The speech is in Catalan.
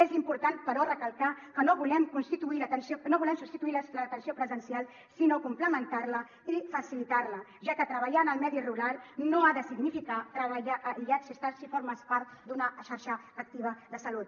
és important però recalcar que no volem substituir l’atenció presencial sinó complementar la i facilitar la ja que treballar en el medi rural no ha de significar treballar aïllats si formes part d’una xarxa activa de salut